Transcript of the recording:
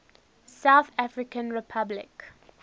south african republic